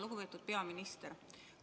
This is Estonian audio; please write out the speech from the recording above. Lugupeetud peaminister!